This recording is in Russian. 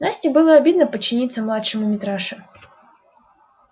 насте было обидно подчиниться младшему митраше